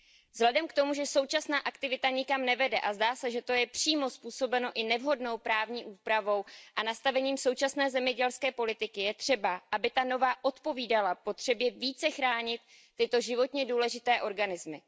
Vzhledem k tomu, že současná aktivita nikam nevede, a zdá se, že to je přímo způsobeno i nevhodnou právní úpravou a nastavením současné zemědělské politiky, je třeba, aby ta nová odpovídala potřebě více chránit tyto životně důležité organismy.